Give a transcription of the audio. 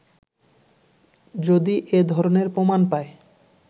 যদি এ ধরনের প্রমাণ পায়